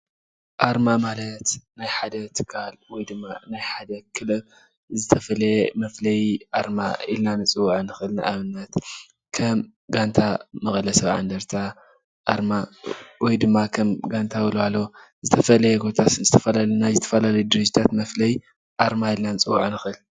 አርማ ማለት ናይ ሓደ ትካል ወይ ድማ ናይ ሓደ ክለብ ዝተፈለየ መፍለይ አርማ ኢልና ንፅዎዖ ንክእል:: ንአብነት ከም ጋንታ መቀለ ሰብዓ እንደርታ አርማ ወይ ድማ ከም ጋንታ ወለዋሎ ዝተፈለየ ናይ ዝተፈላለዩ ድርጅታት መፍለይ አርማ ኢልና ክንፅዎዖ ንክእል፡፡